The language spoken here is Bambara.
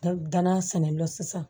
danna sɛn dɔ la sisan